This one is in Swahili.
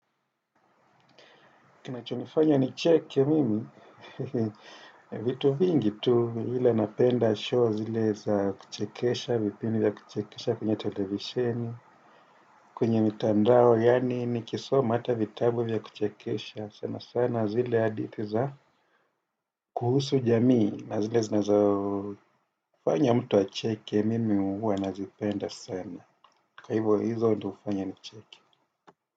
Kinacho nifanya nicheke mimi, vitu vingi tu ila napenda show zile za kuchekesha, vipinvdi ya kuchekesha kwenye televiseni, kwenye mitandao yaani nikisoma hata vitabu vya kuchekesha sana sana zile hadithi za kuhusu jamii na zile zinazo. Kufanya mtu acheke mimi huwa nazipenda sana. Kwa hivyo hizo ndio hufanya nicheke.